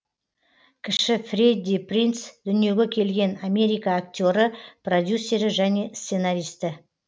кіші фредди принц дүниеге келген америка актері продюсері және сценаристі